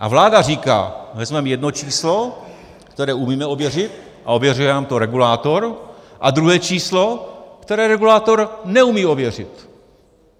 A vláda říká: vezmeme jedno číslo, které umíme ověřit, a ověřuje nám to regulátor, a druhé číslo, které regulátor neumí ověřit.